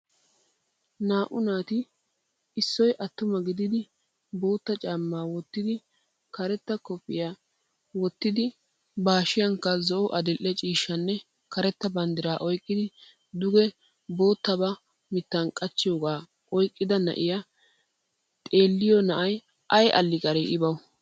Naa'u naati issi attuma gidid bootta caammaa wottid karetta koppiyiya wottid ba hashsiyankka zo'o, adil"e ciishshanne karetta bandira oyqqidi duge boottabaa miittan qachchoogaa oyqqida na'iya xeelliya na'ay ay aliqari I bawu!